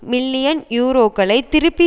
million யூரோக்களை திருப்பி